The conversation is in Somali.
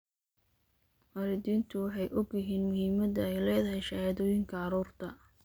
Waalidiintu waxay og yihiin muhiimadda ay leedahay shahaadooyinka carruurta.